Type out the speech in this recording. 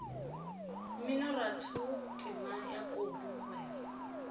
mminoratho temana ya kobi mogwera